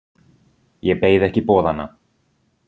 Ég beið ekki boðanna.